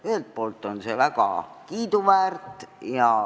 Ühelt poolt on see väga kiiduväärt.